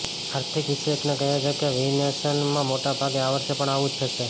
આર્થિક વિશેષજ્ઞ કહે છે કે વિનિવેશમાં મોટાભાગે આ વર્ષે પણ આવું જ થશે